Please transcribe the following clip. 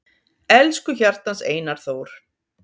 Elsku hjartans Einar Þór